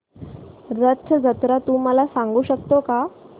रथ जत्रा तू मला सांगू शकतो का